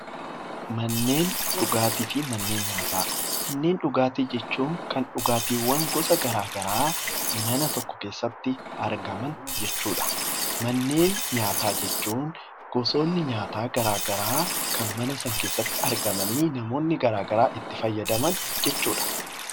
manneen dhugaatii jechuun kan dhugaatiiwwan gosa garaagaraa mana tokko keessatti argaman jechuudha. Manneen nyaataa jechuun gosoonni nyaataa garaagaraa kan mana sana keessatti argamanii namoonni garaagaraa itti fayyadaman jechuudha.